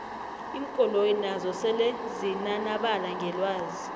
iinkoloyi nazo sele zinanabala ngelwazi